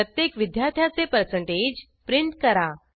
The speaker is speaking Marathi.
प्रत्येक विद्यार्थ्याचे परसेंटेज प्रिंट करा